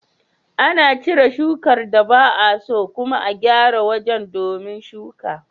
Ana cire shukar da ba'a so, kuma a gyara wajen domin shuka.